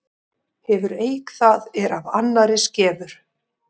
Hefur eik það er af annarri skefur.